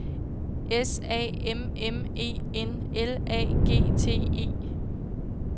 S A M M E N L A G T E